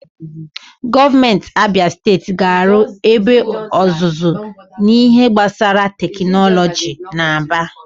Gọọmenti Abịa Steeti ga-arụ ebe ọzụzụ n'ihe gbasara tekinọlọji n'Aba.